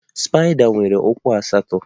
Spaida nwere ụkwụ asatọ